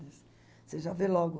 Você já vê logo...